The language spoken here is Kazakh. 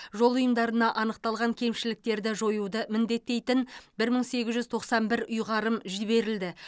жол ұйымдарына анықталған кемшіліктерді жоюды міндеттейтін бір мың сегіз жүз тоқсан бір ұйғарым жіберілді